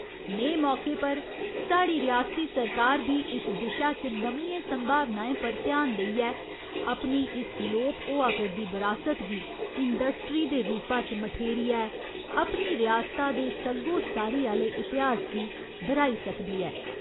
नेह् मौके पर साढ़ी रियासती सरकार बी इस दिशा च नमियें संभावनाएं पर ध्यान देइयै अपनी इस लोप होआ करदी बरासत गी इंडस्ट्री दे रूपा च मठेरियै अपनी रियसता दे सग्गोसारी आह्‌ले इतिहास गी दर्‌हाई सकदी ऐ।